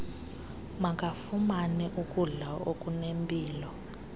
makafumane ukudla okunempilo